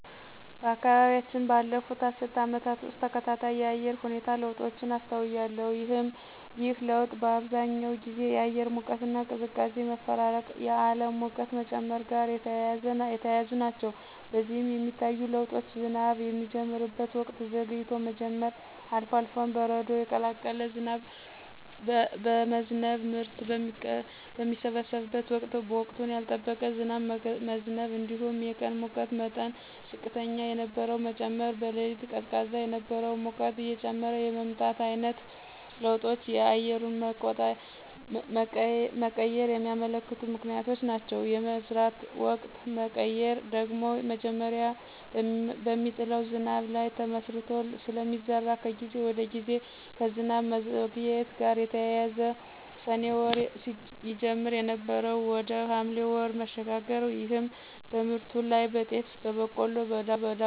በአካባቢያችን ባለፉት አስርት ዓመታት ውስጥ ተከታታይ የአየር ሁኔታ ለውጦችን አስተውያለሁ። ይህ ለውጥ በአብዛኛው ጊዜ የአየር ሙቀትና ቅዝቃዜ መፈራረቅና የዓለም ሙቀት መጨመር ጋር የተያያዙ ናቸው። በዚህም የሚታዩ ለውጦች ዝናብ የሚጀምርበት ወቅት ዘግይቶ መጀመር፣ አልፎ አልፎም በረዶ የቀላቀለ ዝናብ መዝነብ፣ ምርት በሚሰበሰብበት ወቅት ወቅቱን ያልጠበቀ ዝናብ መዝነብ እንዲሁም የቀን የሙቀት መጠን ዝቅተኛ የነበረው መጨመር፣ በሌሊት ቀዝቃዛ የነበረው ሙቀት እየጨመረ የመምጣት ዓይነት ለውጦች የአየሩን መቀየር የሚያመለክቱ ምክንያቶች ናቸው። የመዝራት ወቅት መቀየር ደግሞ መጀመሪያ በሚጥለው ዝናብ ላይ ተመስርቶ ስለሚዘራ ከጊዜ ወደ ጊዜ ከዝናብ መዘግየት ጋር ተያይዞ ሰኔ ወር ይጀመር የነበረው ወደ ሐምሌ ወር መሸጋገር ይህም በምርቱ ላይ (በጤፍ፣ በቆሎ፣ በዳጉሳና በሌሎችም) ላይ ተፅዕኖ አሳድሯል።